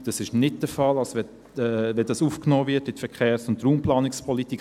Das ist nicht der Fall, wenn dies in die Verkehrs- und Raumplanungspolitik aufgenommen wird.